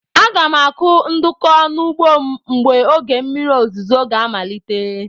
Aga m akụ ndụkụ n'ugbo m mgbe oge mmiri ozuzo ga amalite.